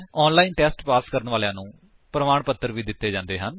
ਜੋ online test pass ਕਰਦੇ ਹਨ ਉਨ੍ਹਾਂ ਨੂੰ ਪ੍ਰਮਾਣ ਪੱਤਰ ਵੀ ਦਿੰਦੇ ਹਨ